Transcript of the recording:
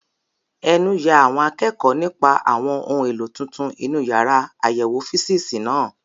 Ẹnu ya àwọn akẹ́kọ̀ọ́ nípa àwọn ohun èlò tuntun inú yàrá àyẹ̀wò físììsì náà.